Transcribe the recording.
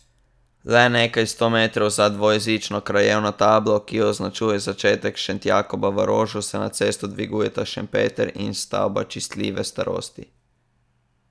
Le nekaj sto metrov za dvojezično krajevno tablo, ki označuje začetek Šentjakoba v Rožu, se nad cesto dvigujeta Šentpeter in stavba častitljive starosti.